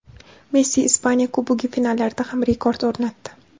Messi Ispaniya Kubogi finallarida ham rekord o‘rnatdi.